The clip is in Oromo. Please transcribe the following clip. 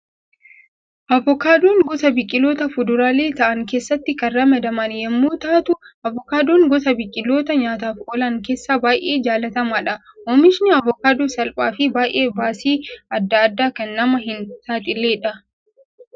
Avokaadoon gosa biqiloota fuduraalee ta'an keessatti kan ramadaman yemmuu taatu, avokaadoon gosa biqiloota nyaataaf oolan keessaa baayyee jaalatamaadha. Oomishni avokaadoo salphaa fi baayyee baasii addaa addaa kan nama hin saaxiledha.